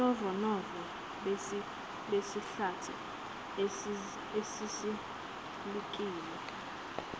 ubunofonofo besihlathi esisulekile